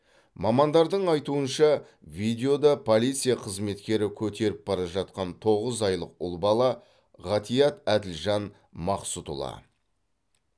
мамандардың айтуынша видеода полиция қызметкері көтеріп бара жатқан тоғыз айлық ұл бала ғатиат әділжан мақсұтұлы